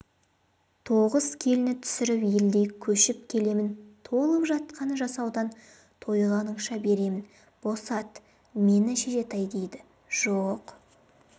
тоғыз келін түсіріп елдей көшіп келемін толып жатқан жасаудан тойғаныңша беремін босат мені шешетай дейді жоқ